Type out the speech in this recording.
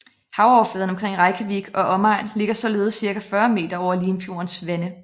Havoverfladen omkring Reykjavik og omegn ligger således cirka 40 meter over Limfjordens vande